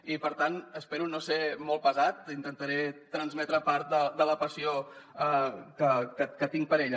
i per tant espero no ser molt pesat intentaré transmetre part de la passió que tinc per ella